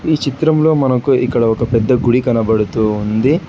ఈ చిత్రంలో మనకు ఇక్కడ ఒక పెద్ద గుడి కనబడుతూ ఉంది.